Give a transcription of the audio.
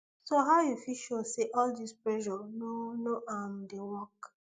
so how you fit show say all dis pressure no no um dey work